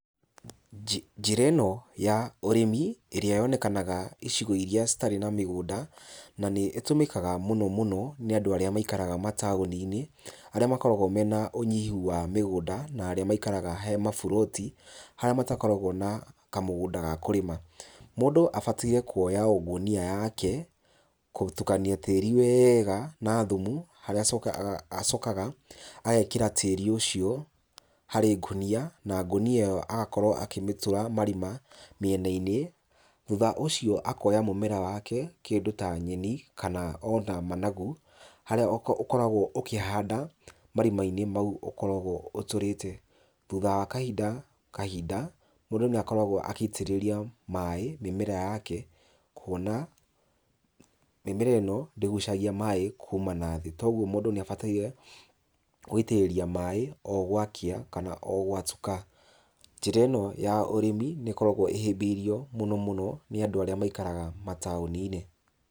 Njĩra ĩno ya ũrĩmi ĩrĩa yonekanaga icigo iria citarĩ na mĩgũnda na nĩ ĩtũmĩkaga mũno mũno nĩ andũ arĩa maikaraga mataũni-inĩ arĩa makoragwo me na ũnyihu wa mĩgũnda na arĩa maikaraga he maburoti harĩa matakoragwo na kamũgũnda ga kũrĩma. Mũndũ abataire kuoya o ngunia yake, gũtukania tĩĩri wega na thumu, agacoka, acokaga agekĩra tĩĩri ũcio harĩ ngonia, na ngonia ĩyo agakorwo akĩmĩtũra marima mĩena-inĩ, thutha ũcio akoya mũmera wake, kĩndũ ta nyeni kana ona managu harĩa ũkoragwo ũkĩhanda marima-inĩ mau ũkoragwo ũtũrĩte. Thutha wa kahinda kahinda mũndũ nĩ akoragwo agĩitĩrĩria maĩ mĩmera yake. Kuona mĩmera ĩno ndĩgucagia maĩ kuma nathĩ koguo mũndũ nĩ abataire gũitĩrĩria maĩ o gwakĩa kana o gwatuka. Njĩra ĩno ya ũrĩmi nĩ ĩkorgwo ĩhĩmbĩirio mũno mũno nĩ andũ arĩa maikaraga mataũni-inĩ.